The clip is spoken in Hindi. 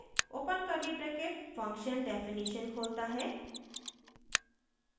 open curly bracket function definition खोलता है